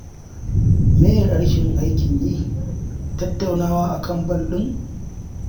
Me ye rashin aikin yin, Tattaunawa a kan bal ɗin?